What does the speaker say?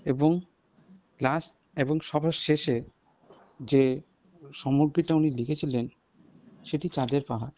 এবং last এবং সবার শেষে যে সমর্পিতা উনি লিখেছিলেন সেটি চাঁদের পাহাড়।